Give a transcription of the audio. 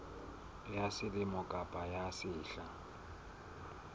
ya selemo kapa ya sehla